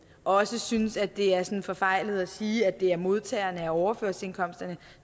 også synes at det er sådan forfejlet at sige at det er modtagerne af overførselsindkomsterne